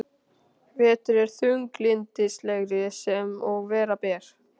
Vetur er þunglyndislegri sem og vera ber.